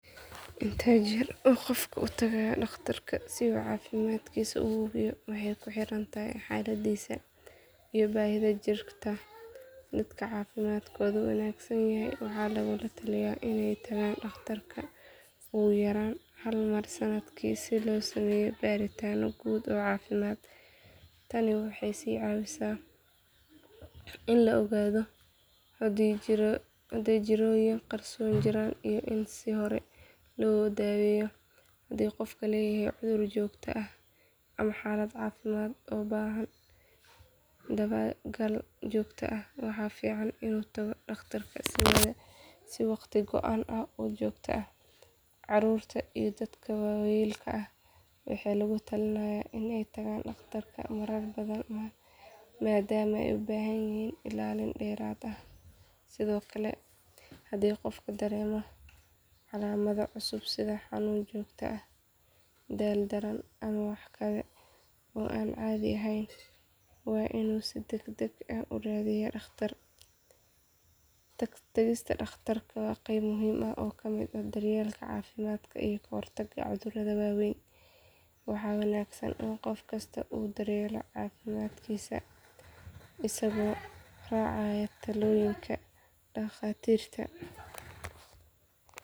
Intee jeer uu qofka uu taag dhakhtarka si uu cafimadkiisa uhuwiyo waxey ku hiirantaha xaladisa iyo bahida jiirta daadka cafimadkoda wanaagsanyaha waxa lagu la taaliya iney taagan dhakhtarka ugu yaraan hal mar sanadkii si lo sameyo baritaana guud oo cafimad taani waxey si cawisa ina la ogaado haadey jiroyin qarson jiraan iyo in sii hore lo daweyo hadi qofka uu leyaha cudur joogta ah ama xalad cafimad ubahan dawagal joogta ah waxa fiican inu taago dhakhtar si wakhti goaan oo joogta ah carurta iyo daadka wayelka ah waxey lagula taalinaya iney taagto dhakhtarka marar badaan madaama eey ubahayihin ilaalid deerad eh sidhoo kale hadi qofka udaaremo calamada cusub sidhaa xanuna joogta ah daal badan waainu si dagdag ah uraadiyo dhakhtar tagista dhakhtarka waa qebaa muhim oo ka mid ah daryelka cafimadka iyo kahor taaga cudurka waweyn waxa wanaagsaan in qofkasta uu daryelo cafimaadkisa asigo racaaya taloyinka dhaktirta.